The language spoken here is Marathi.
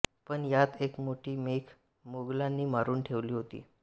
पण यात एक मोठी मेख मोगलांनी मारून ठेवली होती